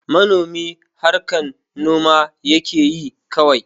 Manomi harkan noma yakeyi kawai